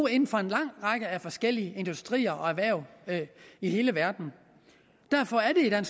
inden for en lang række forskellige industrier og erhverv i hele verden derfor er